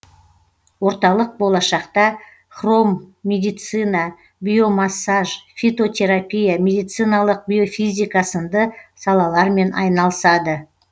орталық болашақта хромедицина биомассаж фитотерапия медициналық биофизика сынды салалармен айналысады